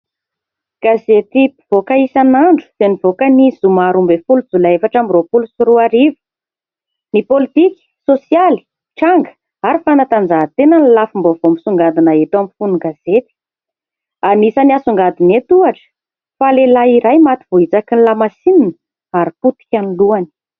Gazety mpivoaka isan'andro dia nivoaka ny zoma 12 Jolay 2024. Ny politika, sosialy, tranga ary fanatanjahatena ny lafim-baovao misongadina hita amin'ny fon'ny gazety. Anisan'ny asongadina eto ohatra fa lehilahy iray maty vohitsaky ny lamasinina ary potika ny lohany.